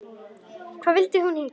Hvað vildi hún hingað?